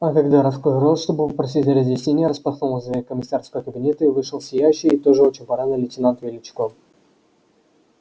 а когда раскрыл рот чтобы попросить разъяснений распахнулась дверь комиссарского кабинета и вышел сияющий и тоже очень парадный лейтенант величко